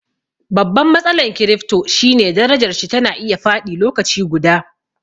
Babban matsalan kirifto shine darajarshi tana iya faɗi lokaci guda